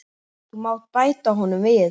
Þú mátt bæta honum við.